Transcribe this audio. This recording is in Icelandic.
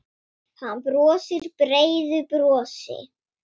Hann brosir breiðu brosi.